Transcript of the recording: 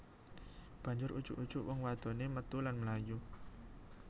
Banjur ujug ujug wong wadoné metu lan mlayu